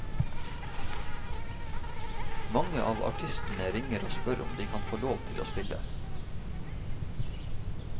Mange av artistene ringer og spør om de kan få lov til å spille.